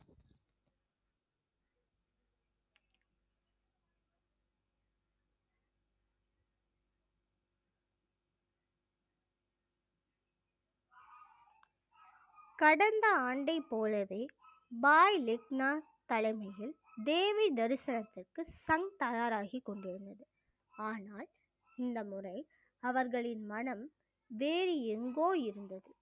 கடந்த ஆண்டை போலவே பாய் லெக்னா தலைமையில் தேவி தரிசனத்திற்கு சங்க் தயாராகிக் கொண்டிருந்தது ஆனால் இந்த முறை அவர்களின் மனம் வேறு எங்குகோ இருந்தது